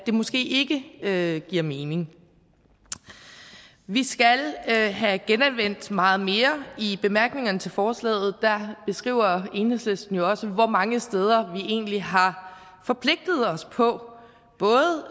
måske ikke giver mening vi skal have have genanvendt meget mere i bemærkningerne til forslaget skriver enhedslisten jo også hvor mange steder vi egentlig har forpligtet os på